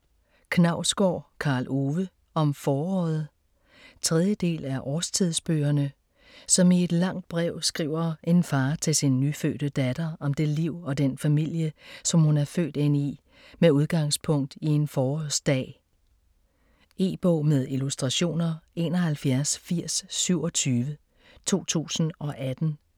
Knausgård, Karl Ove: Om foråret 3. del af Årstidsbøgerne. Som i et langt brev skriver en far til sin nyfødte datter om det liv og den familie, som hun er født ind i med udgangspunkt i en forårsdag. E-bog med illustrationer 718027 2018.